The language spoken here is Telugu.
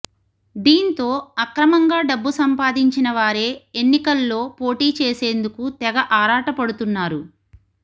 దీంతో అక్రమంగా డబ్బు సంపాదించినవారే ఎన్నికల్లో పోటీ చేసేందుకు తెగ ఆరాటపడుతున్నారు